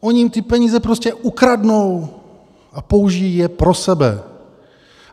Oni jim ty peníze prostě ukradnou a použijí je pro sebe.